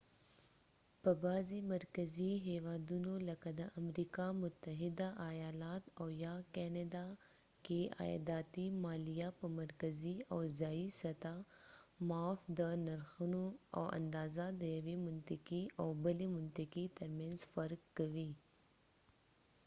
په بعضې مرکزي هیوادونو لکه د امریکا متحده آیالات او یا کانادا کې عایداتي مالیه په مرکزي او ځایي سطحه معاف ده د نرخونه او اندازه د یوې منطقې او بلې منطقې ترمنځ فرق کوي